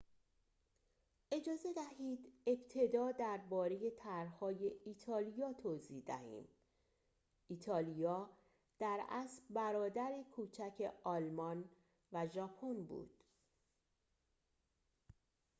اجازه دهید ابتدا درباره طرح‌های ایتالیا توضیح دهیم ایتالیا در اصل برادر کوچک آلمان و ژاپن بود